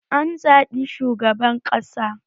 An zabi shugaban ƙasa